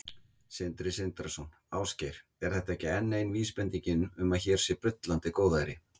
Sindri Sindrason: Ásgeir, er þetta ekki enn ein vísbendingin um að hér sé bullandi góðæri?